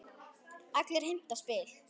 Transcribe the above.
Allir heimta spil.